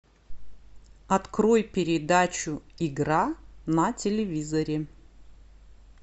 открой передачу игра на телевизоре